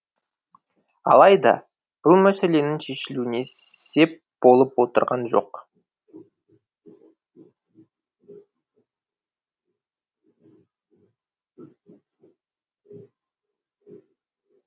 алайда бұл мәселенің шешілуіне сеп болып отырған жоқ